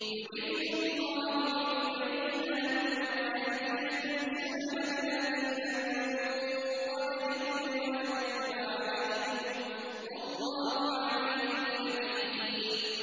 يُرِيدُ اللَّهُ لِيُبَيِّنَ لَكُمْ وَيَهْدِيَكُمْ سُنَنَ الَّذِينَ مِن قَبْلِكُمْ وَيَتُوبَ عَلَيْكُمْ ۗ وَاللَّهُ عَلِيمٌ حَكِيمٌ